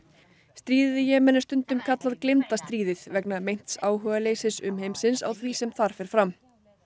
stríðið í Jemen er stundum kallað gleymda stríðið vegna meints áhugaleysis umheimsins á því sem þar fer fram